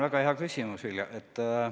Väga hea küsimus, Vilja!